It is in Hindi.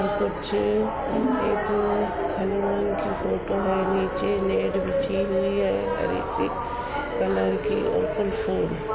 कुछ एक हनुमान की फोटो है नीचे बिछी हुई है। हरे से कलर की और --